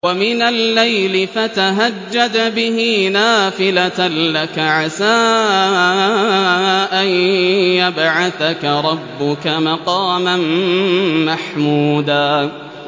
وَمِنَ اللَّيْلِ فَتَهَجَّدْ بِهِ نَافِلَةً لَّكَ عَسَىٰ أَن يَبْعَثَكَ رَبُّكَ مَقَامًا مَّحْمُودًا